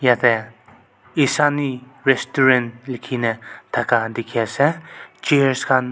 yate esani restaurant likhi ne thaka dikhi ase chairs khan--